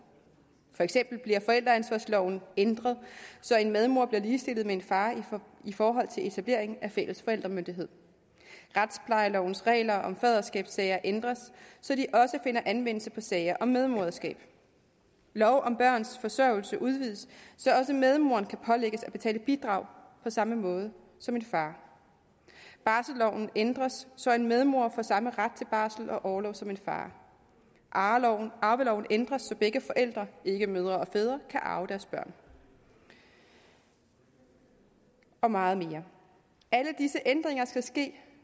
for eksempel bliver forældreansvarsloven ændret så en medmor bliver ligestillet med en far i forhold til etablering af fælles forældremyndighed retsplejelovens regler om faderskabssager ændres så de også finder anvendelse på sager om medmoderskab lov om børns forsørgelse udvides så også medmoren kan pålægges at betale bidrag på samme måde som en far barselloven ændres så en medmor får samme ret til barsel og orlov som en far arveloven arveloven ændres så begge forældre ikke mødre og fædre kan arve deres børn og og meget mere alle disse ændringer